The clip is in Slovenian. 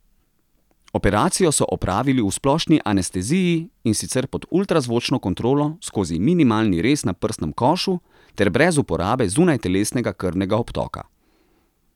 Operacijo so opravili v splošni anesteziji, in sicer pod ultrazvočno kontrolo skozi minimalni rez na prsnem košu ter brez uporabe zunajtelesnega krvnega obtoka.